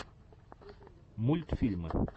мультфильмы